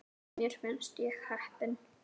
Mér finnst ég heppin.